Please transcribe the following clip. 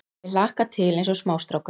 Ég hlakka til eins og smástrákur.